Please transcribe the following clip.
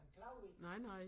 Han klager ikke